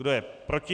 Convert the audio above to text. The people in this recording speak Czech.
Kdo je proti?